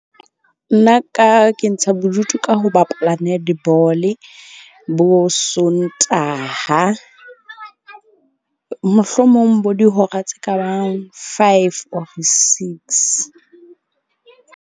Nna ka ke ntsha bodutu ka ho bapala netball-e bo Sontaha, mohlomong bo dihora tse kabang five or six.